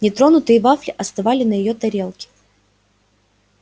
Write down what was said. нетронутые вафли остывали на её тарелке